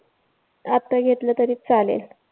आता घेतलं तरी चालेल.